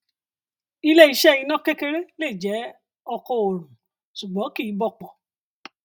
ilé iṣẹ iná kékeré lè jẹ oko oòrùn ṣùgbọn kì í bọpọ